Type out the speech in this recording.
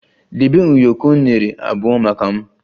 Debe ụyọkọ unere abụọ maka m!